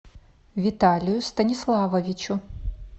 виталию станиславовичу